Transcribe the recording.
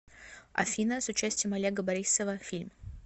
афина с участием олега борисова фильм